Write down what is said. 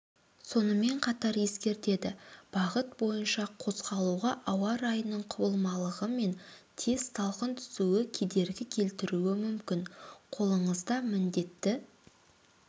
сонымен қатар ескертеді бағыт бойынша қозғалуға ауа-райының құбылмалығымен тез салқын түсуі кедергі келтіруі мүмкін қолыңызда міндетті